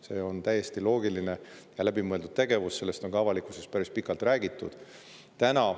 See on täiesti loogiline ja läbimõeldud tegevus, sellest on ka avalikkuses päris pikalt räägitud.